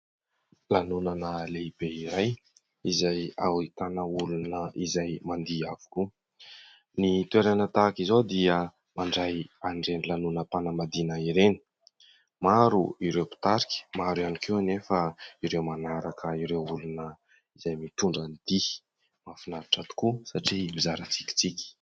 Lanonana lehibe iray izay ahitana olona izay mandihy avokoa. Ny toerana tahak'izao dia mandray an'ireny lanona-mpanambadiana ireny. Maro ireo mpitarika ary maro ihany koa anefa ireo manaraka ireo olona izay mitondra ny dihy. Mahafinaritra tokoa satria mizara tsikitsiky.